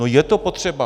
No je to potřeba!